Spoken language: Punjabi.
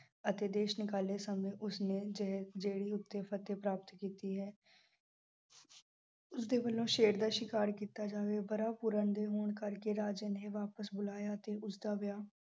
ਅਤੇ ਦੇਸ਼ ਨਿਕਾਲੇ ਸਮੇਂ ਉਸਨੇ ਜਿਹ ਅਹ ਜਿਹੜੀ ਉਸ 'ਤੇ ਫ਼ਤਿਹ ਪ੍ਰਾਪਤ ਕੀਤੀ ਹੈ। ਉਸ ਦੇ ਵੱਲੋਂ ਸ਼ੇਰ ਦਾ ਸ਼ਿਕਾਰ ਕੀਤਾ ਜਾਵੇ। ਹੋਣ ਕਰਕੇ ਰਾਜਨ ਵਾਪਸ ਬੁਲਾਇਆ ਤੇ ਉਸਦਾ ਵਿਆਹ